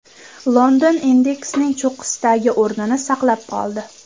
London indeksning cho‘qqisidagi o‘rnini saqlab qoldi.